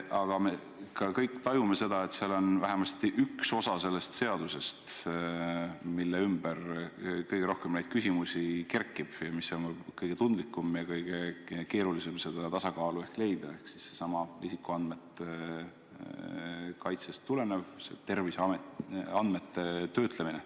Aga me kõik tajume ka seda, et seal on vähemasti üks osa sellest seadusest, mille ümber kõige rohkem küsimusi kerkib ja mille puhul on võib-olla kõige tundlikum ja kõige keerulisem tasakaalu leida, ehk siis seesama isikuandmete kaitsest tulenev terviseandmete töötlemine.